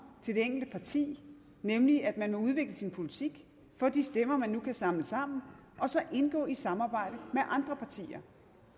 til det enkelte parti nemlig at man udvikler sin politik får de stemmer man kan samle sammen og så indgår i et samarbejde med andre partier